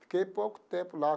Fiquei pouco tempo lá.